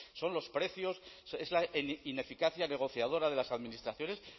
son los precios es la ineficacia negociadora de las administraciones